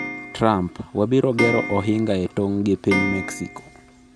Trump: Wabiro gero ohinga e tong' gi piny Mexico